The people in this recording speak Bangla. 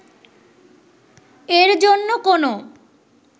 এর জন্য কোনো